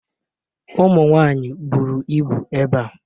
Ụmụnwaanyị buru ibu ebea.